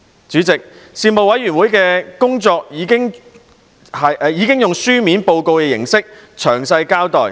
主席，事務委員會的工作已在書面報告中詳細交代。